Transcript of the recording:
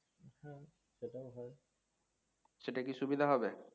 সেটা কি সুবিধা হবে?